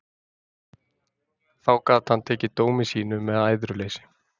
Þá gat hann tekið dómi sínum með æðruleysi.